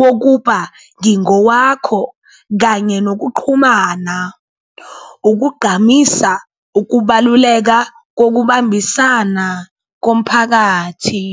wokuba ngingowakho kanye nokuqhumana, ukugqamisa ukubaluleka kokubambisana komphakathi.